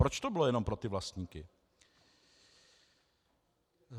Proč to bylo jenom pro ty vlastníky?